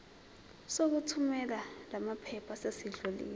sokuthumela lamaphepha sesidlulile